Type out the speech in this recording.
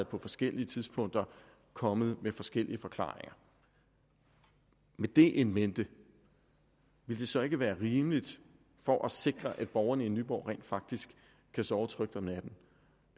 på forskellige tidspunkter kommet forskellige forklaringer med det in mente vil det så ikke være rimeligt for at sikre at borgerne i nyborg rent faktisk kan sove trygt om natten